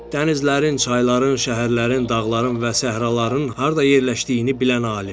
Dənizlərin, çayların, şəhərlərin, dağların və səhraların harda yerləşdiyini bilən alim.